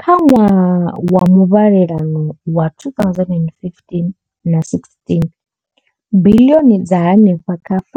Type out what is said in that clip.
Kha ṅwaha wa muvhalelano wa 2015,16, biḽioni dza henefha kha R5